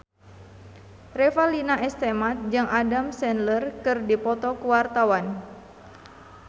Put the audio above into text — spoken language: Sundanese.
Revalina S. Temat jeung Adam Sandler keur dipoto ku wartawan